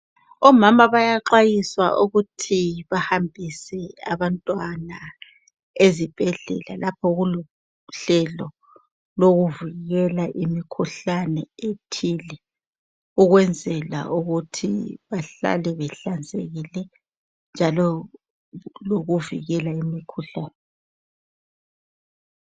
Omama bayaxwayiswa ukuthi bahambise abantwana ezibhedlela lapho okulohlelo lokuvikela imikhuhlane ethile ukwenzela ukuthi bahlale behlanzekile njalo kulokuvikela imikhuhlane